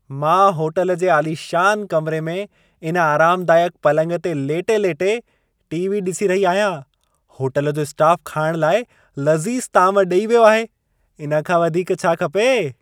मां होटल जे आलिशान कमरे में इन आरामदाइकु पलंग ते लेटे-लेटे टी.वी. ॾिसी रही आहियां। होटल जो स्टाफ़ खाइणु लाइ लज़ीज़ ताम ॾेई वियो आहे। इन खां वधीक छा खपे!